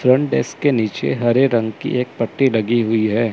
Front desk के नीचे हरे रंग की एक पट्टी लगी हुई है।